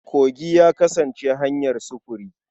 Kogi ya kasance hanyar sufuri.